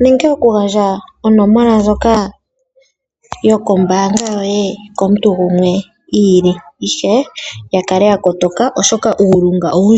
nenge okugandja onomola ndjoka yombaanga yoye komuntu gumwe, ihe ya kale ya kotoka, oshoka uulunga owundji.